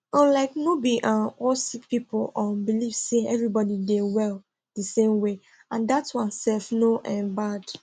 um like no be um all sick people um believe say everybody dey well di same way and dat one sef no um bad